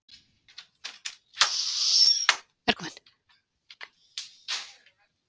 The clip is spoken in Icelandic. Þórhildur: Eðalvín?